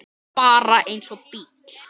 Bara eins og bíll.